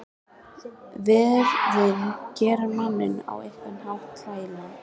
Veðrin gera manninn á einhvern hátt hlægilegan.